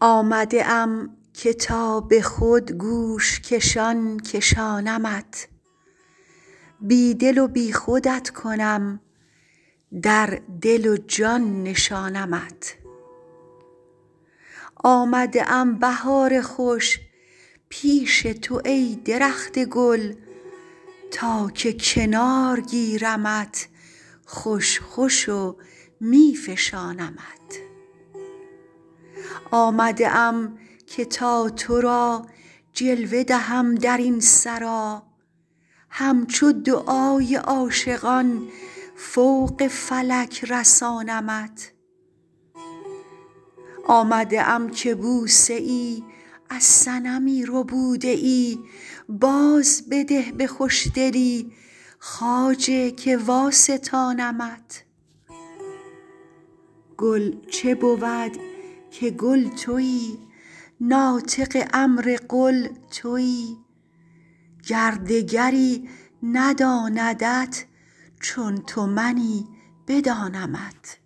آمده ام که تا به خود گوش کشان کشانمت بی دل و بی خودت کنم در دل و جان نشانمت آمده ام بهار خوش پیش تو ای درخت گل تا که کنار گیرمت خوش خوش و می فشانمت آمده ام که تا تو را جلوه دهم در این سرا همچو دعای عاشقان فوق فلک رسانمت آمده ام که بوسه ای از صنمی ربوده ای بازبده به خوشدلی خواجه که واستانمت گل چه بود که کل تویی ناطق امر قل تویی گر دگری نداندت چون تو منی بدانمت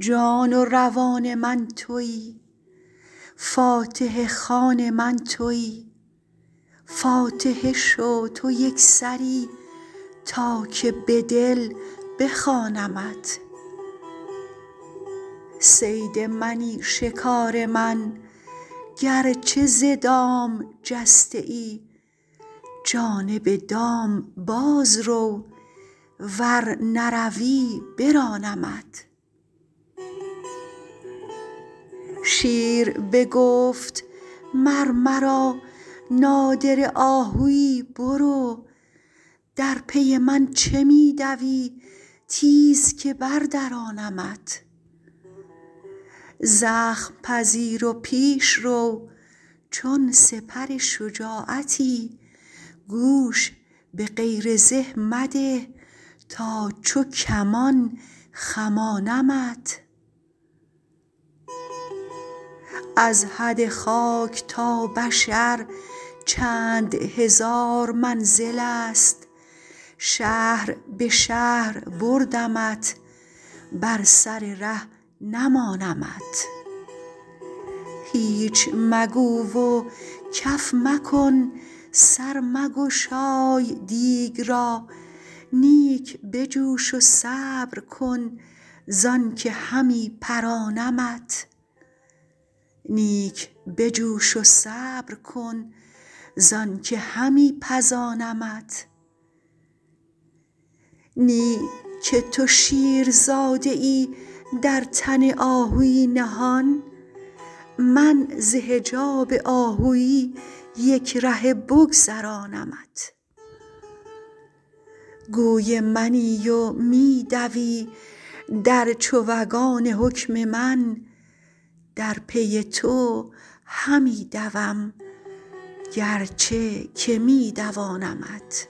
جان و روان من تویی فاتحه خوان من تویی فاتحه شو تو یک سری تا که به دل بخوانمت صید منی شکار من گرچه ز دام جسته ای جانب دام باز رو ور نروی برانمت شیر بگفت مر مرا نادره آهوی برو در پی من چه می دوی تیز که بردرانمت زخم پذیر و پیش رو چون سپر شجاعتی گوش به غیر زه مده تا چو کمان خمانمت از حد خاک تا بشر چند هزار منزلست شهر به شهر بردمت بر سر ره نمانمت هیچ مگو و کف مکن سر مگشای دیگ را نیک بجوش و صبر کن زانک همی پزانمت نی که تو شیرزاده ای در تن آهوی نهان من ز حجاب آهوی یک رهه بگذرانمت گوی منی و می دوی در چوگان حکم من در پی تو همی دوم گرچه که می دوانمت